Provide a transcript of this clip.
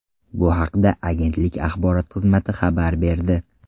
Bu haqda agentlik axborot xizmati xabar berdi .